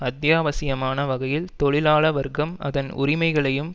அத்தியாவசியமான வகையில் தொழிலாள வர்க்கம் அதன் உரிமைகளையும்